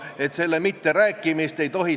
Mingi hetk te saate teada, et tulemas on kontroll.